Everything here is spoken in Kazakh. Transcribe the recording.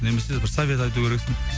немесе бір совет айту керексің